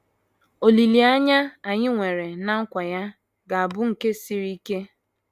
Olileanya anyị nwere ná nkwa ya ga - abụ nke siri ike.